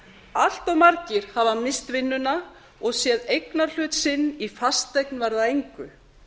allt of margir hafa misst vinnuna og séð eignarhlut sinn í fasteign verða að engu